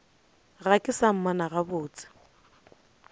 ga ke sa mmona gabotse